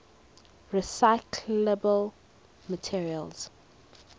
recyclable materials